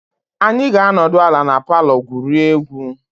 Anyị ga-anọdụ ala na palọ gwurie egwu.